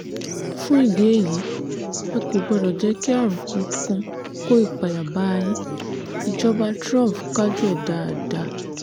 fún ìdí èyí ẹ kò gbọ́dọ̀ jẹ́ kí àrùn kankan kó ìpayà bá a yin ìjọba trump kájú ẹ̀ dáadáa